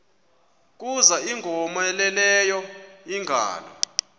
kuza ingowomeleleyo ingalo